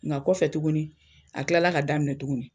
Nka kɔfɛ tugunin a tilala ka daminɛ tugun.